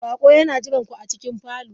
Baƙo yana jiran ku a cikin falon.